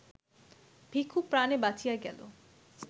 ভিখু প্রাণে বাঁচিয়া গেল